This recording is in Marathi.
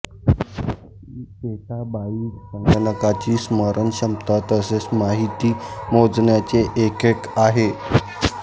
पेटाबाइट संगणकाची स्मरण क्षमता तसेच माहिती मोजण्याचे एकक आहे